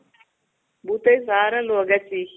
ಬೂತಯ್ ಸಾರಲ್ವೋ